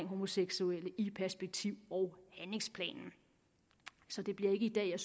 homoseksuelle i perspektiv og handlingsplanen så det bliver ikke i dag jeg